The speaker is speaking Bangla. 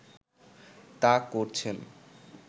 তা করছেন